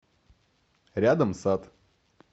рядом сад